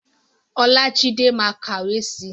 Olájídé ma kàwé si.